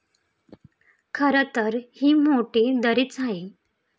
खरं तर, ही मोठी दरीच आहे.